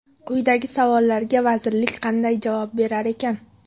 Quyidagi savollarga vazirlik qanday javob berar ekan?